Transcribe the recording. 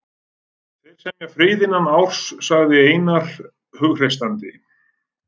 Þeir semja frið innan árs, sagði Einar hughreystandi.